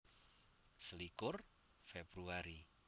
Selikur Februari